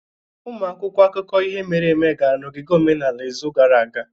Ụmụ akwụkwọ akụkọ ihe mere eme gara n'ogige omenala n'izu gara aga